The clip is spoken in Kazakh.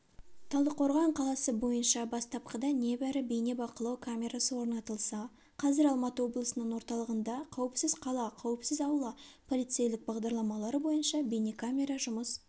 талдықорған қаласы бойынша бастапқыда небәрі бейнебақылау камерасы орнатылса қазір алматы облысының орталығында қауіпсіз қала қауіпсіз аула полицейлік бағдарламалары бойынша бейнкекамера жұмыс